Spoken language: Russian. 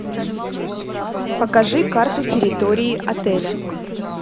покажи карту территории отеля